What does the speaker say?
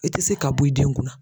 I tɛ se ka bɔ i denw kunna